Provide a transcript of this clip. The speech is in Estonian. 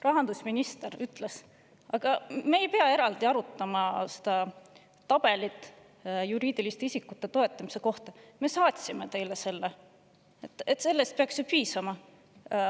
Rahandusminister ütles, et me ei pea eraldi arutama seda tabelit juriidiliste isikute toetamise kohta, nad juba saatsid meile selle, sellest peaks ju piisama.